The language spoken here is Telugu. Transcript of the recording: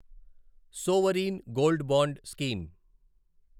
sovereign gold bond scheme